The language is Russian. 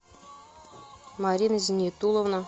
марина зинитуловна